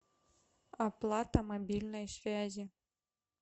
оплата мобильной связи